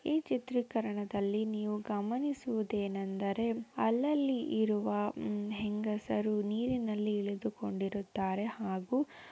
ಈ ಚಿತ್ರಿಕರಣದಲ್ಲಿ ನೀವು ಗಮನಿಸುವುದು ಏನೆಂದರೆ ಅಲ್ಲಲ್ಲಿ ಇರುವ ಹೆಂಗಸರು ನೀರಿನಲ್ಲಿ ಇಳಿದುಕೊಂಡಿರುತ್ತಾರೆ ಹಾಗೂ --